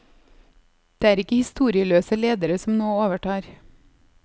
Det er ikke historieløse ledere som nå overtar.